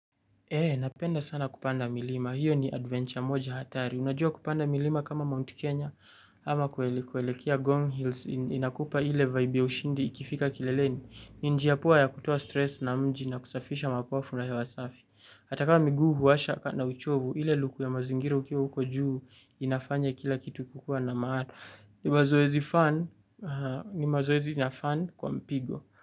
Napenda sana kupanda milima. Hiyo ni adventure moja hatari. Unajua kupanda milima kama Mount Kenya ama kuelekea Gong Hills. Inakupa ile vaibu ya ushindi ikifika kileleni. Ni njia poa ya kutoa stress na mji na kusafisha mapafu na hewa safi. Hata kama miguu huwasha na uchovu. Ile luku ya mazingira ukiwa huko juu inafanya kila kitu kukua na maana. Ni mazoezi na fun kwa mpigo.